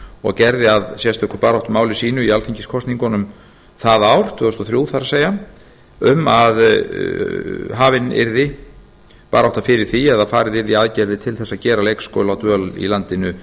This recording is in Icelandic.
og gerði að sérstöku baráttumáli sínu í alþingiskosningunum það ár það er tvö þúsund og þrjú um að hafin yrði barátta fyrir því eða farið yrði í aðgerðir til þess að gera leikskóladvöl í landinu